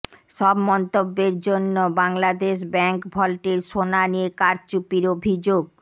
সব মন্তব্যের জন্য বাংলাদেশ ব্যাংক ভল্টের সোনা নিয়ে কারচুপির অভিযোগ